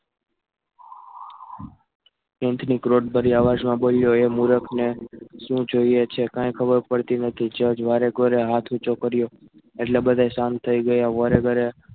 પીન્ટની કોડ ભરી આવાજમાં બોલ્યો એ મૂરખને શું જોઈએ છે? કાંઈ ખબર પડતી નથી જજ વારે ઘોડે હાથ ઊંચો કર્યો એટલે બધા શાંત થઈ ગયા વારે ઘોડે